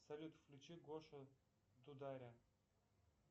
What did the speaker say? салют включи гошу дударя